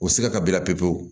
O siga ka b'i la pewu pewu